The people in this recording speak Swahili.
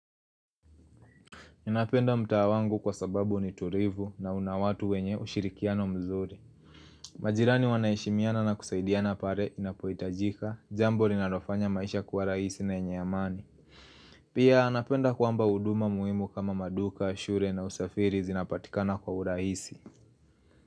Ninapenda mtaa wangu kwa sababu ni tulivu na unawatu wenye ushirikiano mzuri majirani wanaheshimiana na kusaidiana pale inapoitajika, jambo linalofanya maisha kwa rahisi na yenye amani Pia anapenda kwamba uduma muhimu kama maduka, shule na usafiri zinapatikana kwa urahisi.